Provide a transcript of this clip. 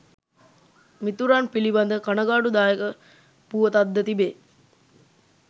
මිතුරන් පිලිබඳ කණගාටුදායක පුවතක් ද තිබේ.